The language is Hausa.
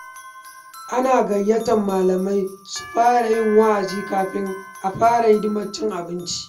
Ana gayyatar malamai su yi wa’azi kafin a fara hidimar cin abinci.